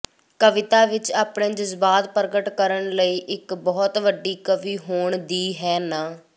ਕਵੀਤਾ ਵਿਚ ਆਪਣੇ ਜਜ਼ਬਾਤ ਪ੍ਰਗਟ ਕਰਨ ਲਈ ਇੱਕ ਬਹੁਤ ਵੱਡੀ ਕਵੀ ਹੋਣ ਦੀ ਹੈ ਨਾ